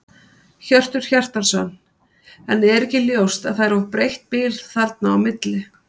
Hjörtur Hjartarson: En er ekki ljóst að það er of breitt bil þarna á milli?